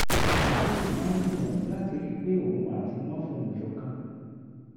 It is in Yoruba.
ó sì máa ń gbìyànjú láti rí i pé òun àti wọn fohùn ṣọ̀kan